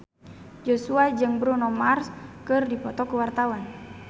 Joshua jeung Bruno Mars keur dipoto ku wartawan